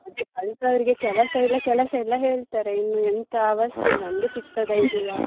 ಅದೆ ಕಲ್ತವರಿಗೆ ಕೆಲಸ ಇಲ್ಲ ಕೆಲಸ ಇಲ್ಲ ಹೇಳ್ತಾರೆ ಇನ್ನು ಎಂತ ಅವಸ್ಥೆ ನಮ್ಗೆ ಸಿಗ್ತದಾ ಇಲ್ವಾ.